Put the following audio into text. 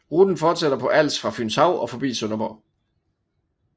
Ruten fortsætter på Als fra Fynshav og forbi Sønderborg